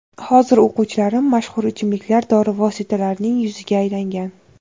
Hozir o‘quvchilarim mashhur ichimliklar, dori vositalarining yuziga aylangan.